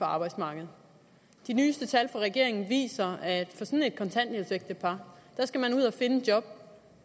arbejdsmarkedet de nyeste tal fra regeringen viser at sådan et kontanthjælpsægtepar skal man ud og finde et job